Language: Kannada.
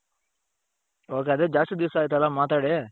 ok ಅದೇ ಜಾಸ್ತಿ ದಿವಸ ಆಯ್ತಲ್ಲಾ ಮಾತಾಡಿ,